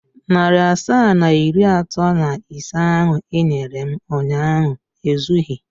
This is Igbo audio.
Narị asaa na iri atọ na ise ahụ i nyere m ụnyaahụ ezughị.